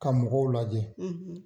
Ka mɔgɔw lajɛ,